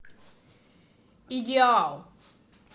идеал